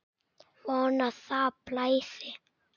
Von að það blæði!